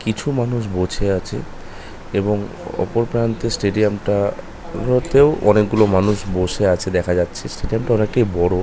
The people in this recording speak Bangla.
কিছু মানুষ বছে আছে। এবং ওপর প্রান্তে স্টেডিয়াম টা -আ ওর মধ্যেও অনেক মানুষ বসে আছে দেখা যাচ্ছে স্টেডিয়াম তা অনেক বড়ো ।